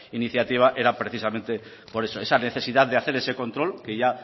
iniciativa era precisamente por eso esa necesidad de hacer ese control que ya